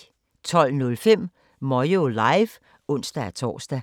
12:05: Moyo Live (ons-tor)